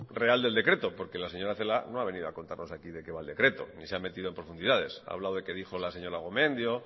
real del decreto porque laseñora celaá no ha venido a contarnos aquí de qué va el decreto no se ha metido en profundidades ha hablado de qué dijo la señora gomendio